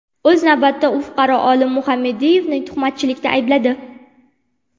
O‘z navbatida, u fuqaro Olim Muhammadiyevni tuhmatchilikda aybladi.